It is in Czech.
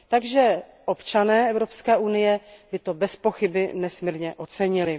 Takže občané Evropské unie by to bezpochyby nesmírně ocenili.